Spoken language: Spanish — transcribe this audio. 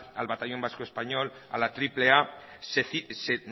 al batallón vasco español a la triple a se